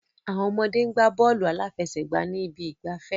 Àwọn ọmọdé ń gbá bọ́ọ̀lù aláfẹsẹ̀gbá ní ibi ìgbafẹ́.